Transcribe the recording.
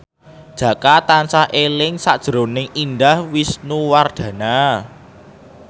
Jaka tansah eling sakjroning Indah Wisnuwardana